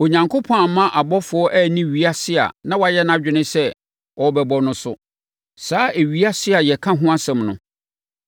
Onyankopɔn amma abɔfoɔ anni ewiase a na wayɛ nʼadwene sɛ ɔrebɛbɔ no so; saa ewiase a yɛka ho asɛm no.